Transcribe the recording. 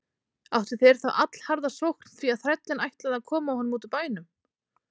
Áttu þeir þá allharða sókn því að þrællinn ætlaði að koma honum út úr bænum.